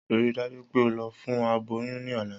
Rii daju pe o lọ fun aboyun ni ọla!